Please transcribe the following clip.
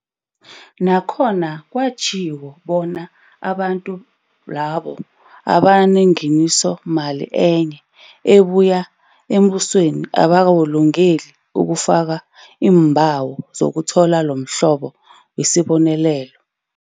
Nakhona kwatjhiwo bona abantu labo abanengeniso mali enye ebuya embusweni abakalungeli ukufaka iimbawo zokuthola lomhlobo wesibonelelo.